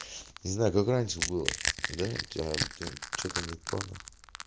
не знаю как раньше было до тебя что-то не понял